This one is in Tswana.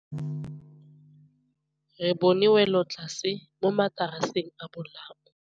Re bone wêlôtlasê mo mataraseng a bolaô.